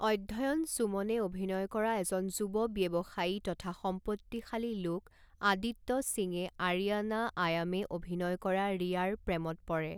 অধ্যয়ন সুমনে অভিনয় কৰা এজন যুৱ ব্যৱসায়ী তথা সম্পত্তিশালী লোক আদিত্য সিংয়ে আৰিয়ানা আয়ামে অভিনয় কৰা ৰিয়াৰ প্ৰেমত পৰে।